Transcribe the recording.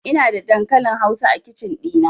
Ina da dankalin hausa a kicin ɗina